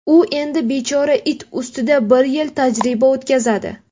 U endi bechora it ustida bir yil tajriba o‘tkazadi.